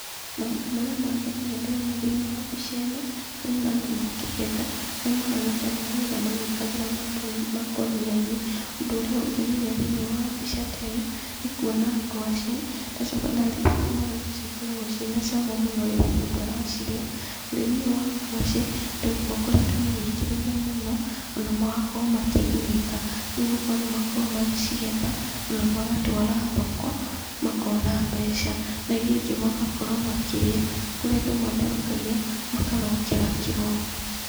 Maũndũ marĩa mangenagia ndĩrona thĩiniĩ wa mbica ĩno , ndĩrona andũ makĩgetha, arĩa marahana ta maragetha magĩkĩraga makũnia-inĩ, ũndũ ũrĩa ũngenagia thĩiniĩ wa mbica ta ĩno, nĩ kuona ngwacĩ, ndacoka ndaririkana ũrĩa ngwacĩ ikoragwo cia na cama mũno rĩrĩa mũndũ aracirĩa, ũrĩmi ũyũ wa ngwacĩ andũ nĩ ma wĩkĩrĩire mũno, ona magakorwo makĩgunĩka, nigũkorwo nĩ makorwagwo magĩ cigetha, magatwara thoko makona mbeca, na iria ingĩ magakorwo magĩkĩrĩa, kũrĩa andũ matherũkagia makarokera kĩroko.